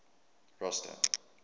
rosta